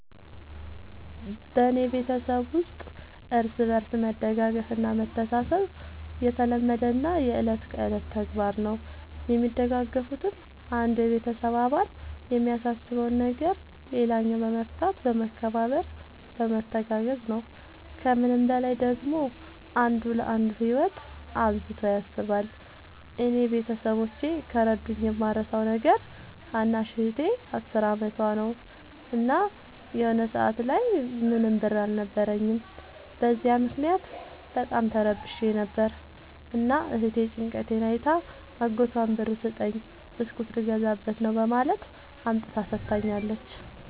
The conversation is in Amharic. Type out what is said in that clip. በኔ ቤተሠብ ውስጥ እርስ በርስ መደጋገፍ እና መተሣሠብ የተለመደና የእለት ከእለት ተግባር ነው። የሚደጋገፉትም አንዱ የቤተሰብ አባል የሚያሳስበውን ነገር ሌላኛው በመፍታት በመከባበር በመተጋገዝ ነው። ከምንም በላይ ደግሞ አንዱ ለአንዱ ህይወት አብዝቶ ያስባል። እኔ ቤተሠቦቼ ከረዱኝ የማረሣው ነገር ታናሽ እህቴ አስር አመቷ ነው። እና የሆነ ሰአት ላይ ምንም ብር አልነበረኝም። በዚያ ምክንያት በጣም ተረብሼ ነበር። እና እህቴ ጭንቀቴን አይታ አጎቷን ብር ስጠኝ ብስኩት ልገዛበት ነው በማለት አምጥታ ሠጥታኛለች።